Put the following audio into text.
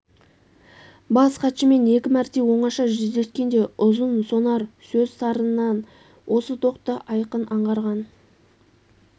бас хатшымен екі мәрте оңаша жүздескенде ұзын сонар сөз сарынынан осы доқты айқын аңғарған